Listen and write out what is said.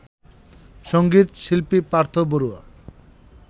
সঙ্গীত শিল্পী পার্থ বড়ুয়া